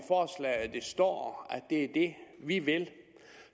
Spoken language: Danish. står at det er det vi vil